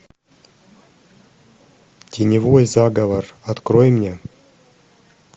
теневой заговор открой мне